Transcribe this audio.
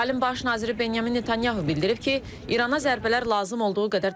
İsrailin baş naziri Benyamin Netanyahu bildirib ki, İrana zərbələr lazım olduğu qədər davam edəcək.